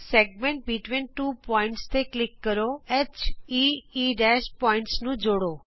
segment between two points ਤੇ click ਕਰੋ heਈ ਬਿੰਦੂਆਂ ਨੂੰ ਜੋੜੋ